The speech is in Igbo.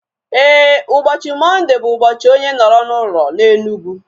Éè, ụbọchị Mọnde bụ ụbọchị onye nọrọ n'ụlọ na Enugu